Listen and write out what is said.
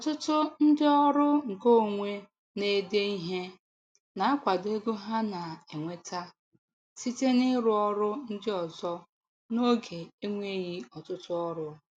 Ọtụtụ ndị ọrụ nke onwe na-ede ihe na-akwado ego ha na-enweta site n'ịrụ ọrụ ndị ọzọ n'oge enweghị ọtụtụ ọrụ.